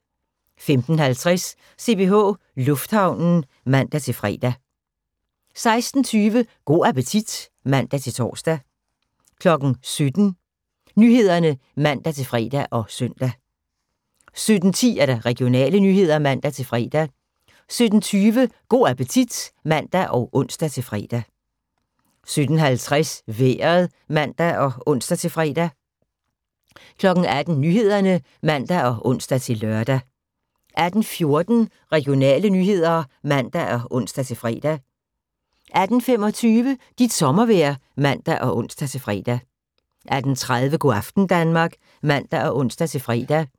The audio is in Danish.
15:50: CPH Lufthavnen (man-fre) 16:20: Go' appetit (man-tor) 17:00: Nyhederne (man-fre og søn) 17:10: Regionale nyheder (man-fre) 17:20: Go' appetit (man og ons-fre) 17:50: Vejret (man og ons-fre) 18:00: Nyhederne (man og ons-lør) 18:14: Regionale nyheder (man og ons-fre) 18:25: Dit sommervejr (man og ons-fre) 18:30: Go' aften Danmark (man og ons-fre)